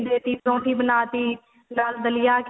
ਦੇ ਤੀ ਪਰੋਂਠੀ ਬਣਾਤੀ ਦਾਲ ਦਲੀਆ